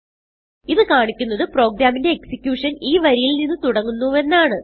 ഇത് കാണിക്കുന്നത് പ്രോഗ്രാമിന്റെ എക്സിക്യൂഷൻ ഈ വരിയിൽ നിന്ന് തുടങ്ങുന്നു എന്നാണ്